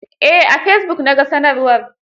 Eh, a fesibuk na ga sanarwar.